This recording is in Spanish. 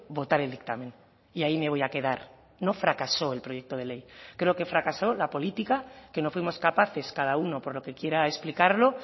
votar el dictamen y ahí me voy a quedar no fracasó el proyecto de ley creo que fracasó la política que no fuimos capaces cada uno por lo que quiera explicarlo